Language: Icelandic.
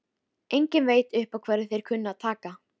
Enginn veit upp á hverju þeir kunna að taka!